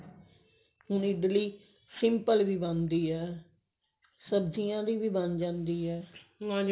ਹੁਣ ਇਡਲੀ simple ਵੀ ਬਣਦੀ ਹੈ ਸਬਜੀਆਂ ਦੀ ਵੀ ਬਣ ਜਾਂਦੀ ਹੈ